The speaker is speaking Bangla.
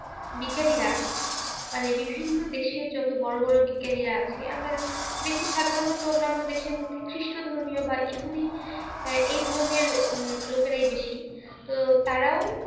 বিজ্ঞানীরা মানে বিভিন্ন দেশের যত বড় বড় বিজ্ঞানীরা আছে আমরা দেখি সাধারণত অন্যান্য দেশের মধ্যে খ্রীষ্ট ধর্মীয় বা ইহুদি আহ এই ধরনের লোকেরাই বেশি। তো তারাও